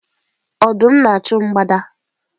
Ọdụm na-achụ mgbada